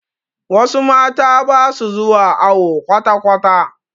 Wasu mata basu zuwa awo kwatakwata